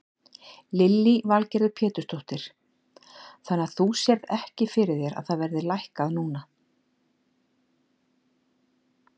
Lillý Valgerður Pétursdóttir: Þannig að þú sérð ekki fyrir þér að það verði lækkað núna?